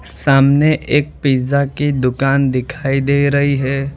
सामने एक पिज़्ज़ा की दुकान दिखाई दे रही है।